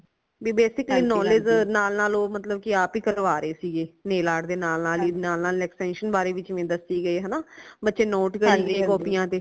ਭੀ basically knowledge ਨਾਲ ਨਾਲ ਓ ਮਤਲਬ ਕਿ ਓ ਆਪ ਹੀ ਕਰਵਾ ਰਏ ਸੀਗੇ nail art ਦੇ ਨਾਲ ਨਾਲ ਨਾਲ ਨਾਲ extension ਬਾਰੇ ਵੀ ਦਸੇ ਗਏ ਹਨਾ ਬੱਚੇ ਨੋਟ ਕਰੀ ਗਏ ਕਾਪੀਆਂ ਤੇ